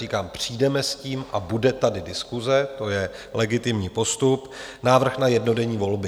Říkám, přijdeme s tím a bude tady diskuse, to je legitimní postup - návrh na jednodenní volby.